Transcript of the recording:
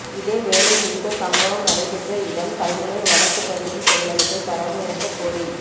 இதேவேளை குறித்த சம்பவம் நடைபெற்ற இடம் கல்முனை வடக்கு பிரதேச செயலகத்தை தரமுயர்த்தக்கோரி